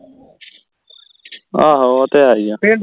ਆਹੋ ਉਹ ਤਾ ਹੈ ਹੀ ਹੈ